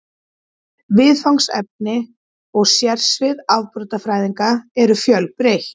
Viðfangsefni og sérsvið afbrotafræðinnar eru fjölbreytt.